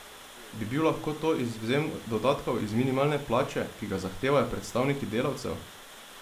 Bi bil lahko to izvzem dodatkov iz minimalne plače, ki ga zahtevajo predstavniki delavcev?